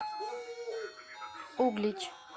углич